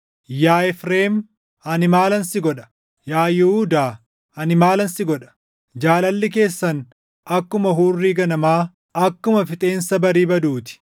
“Yaa Efreem, ani maalan si godha? Yaa Yihuudaa, ani maalan si godha? Jaalalli keessan akkuma hurrii ganamaa, akkuma fixeensa barii baduu ti.